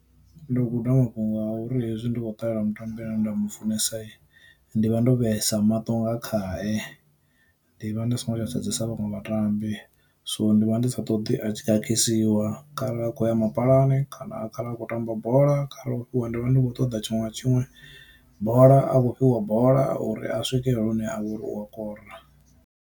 Ndo guda mafhungo a uri hezwi ndi kho ṱalela mutambi ane nda mufunesa ndi vha ndo vhesa maṱo nga khae, ndi vha ndi songo tsha sedzesa vhaṅwe vhatambi. So ndi vha ndi sa ṱoḓi a a tshi khakhisiwa kharali a kho ya mapalani, kana khara a kho tamba bola kha re a khou fhiwa bola ndi vha ndi khou ṱoḓa tshiṅwe na tshiṅwe bola a kho fhiwa bola uri a swike hune a vha uri u a kora.